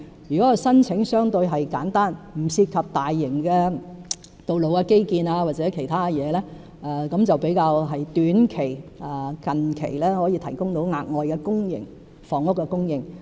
如果有關申請相對簡單，不涉及大型的道路基建或其他事情，較短期就能夠提高公營房屋的供應。